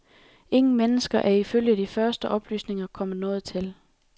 Ingen mennesker er ifølge de første oplysninger kommet noget til.